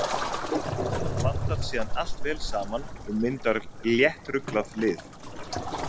Þetta blandast síðan allt vel saman og myndar léttruglað lið.